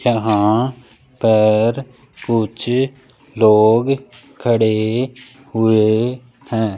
यहां पर कुछ लोग खड़े हुए हैं।